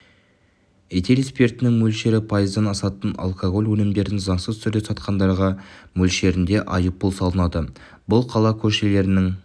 этил спиртінің мөлшері пайыздан асатын алкоголь өнімдерін заңсыз түрде сатқандарға мөлшерінде айыппұл салынады бұл қала көшелерінің